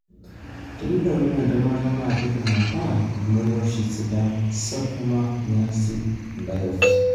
tenitodolu entemata na kidim ata ilmorioshi sidan sarcoma, niasi biopsy.